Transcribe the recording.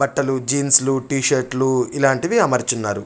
బట్టలు jeans T shirts ఇలాంటివి అమర్చాఉన్నారు.